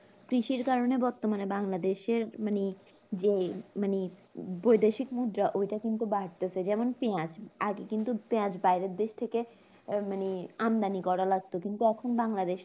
কিসের কারণে বর্তমানে বাংলাদেশের মানে যে মানে বৈদেশিক মুদ্রাও এটা কিন্তু বাড়তেছে যেমন পিয়াজ আগে কিন্তু পেয়ার বাইরের দেশথেকে আহ মানে আমদানি করা লাগতো কিন্তু এখন বাংলাদেশে